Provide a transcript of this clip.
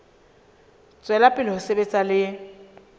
tswela pele ho sebetsa le